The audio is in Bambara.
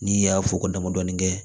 N'i y'a fɔ ko damadɔnin kɛ